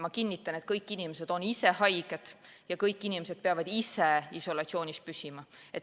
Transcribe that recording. Ma kinnitan, et kõik inimesed on ise haiged ja kõik inimesed peavad ise isolatsioonis püsima.